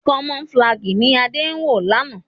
Camouflage ní Ade wọ lànà.